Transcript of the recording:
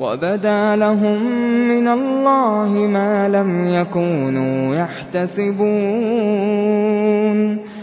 وَبَدَا لَهُم مِّنَ اللَّهِ مَا لَمْ يَكُونُوا يَحْتَسِبُونَ